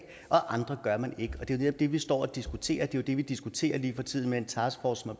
og andre gør man det ikke og det er netop det vi står og diskuterer det er det vi diskuterer lige for tiden med en taskforce